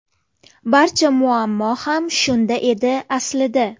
Barcha muammo ham shunda edi aslida.